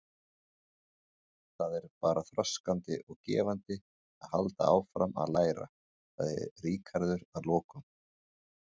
Það er bara þroskandi og gefandi að halda áfram að læra, sagði Ríkharður að lokum.